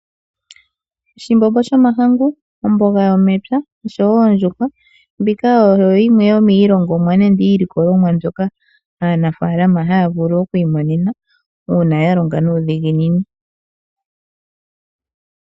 Oshimbombo shomahangu, omboga yomepya noshowo ondjuhwa, mbika oyo yimwe yomiilikolomwa mbyoka aanafaalama haya vulu okuimonena uuna ya longa nuudhiginini.